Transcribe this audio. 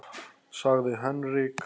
sagði Henrik.